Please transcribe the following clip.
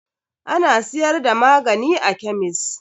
Ana siyar da magani a kemis.